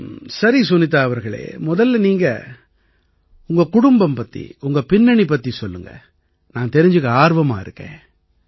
சரி சுனிதா அவர்களே முதல்ல நீங்க உங்க குடும்பம் பத்தி உங்க பின்னணி பத்தி சொல்லுங்க நான் தெரிஞ்சுக்க ஆர்வமா இருக்கேன்